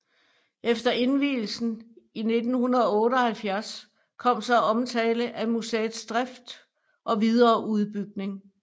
Efter indvielsen i 1978 kom så omtale af museets drift og videre udbygning